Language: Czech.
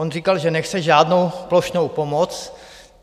On říkal, že nechce žádnou plošnou pomoc.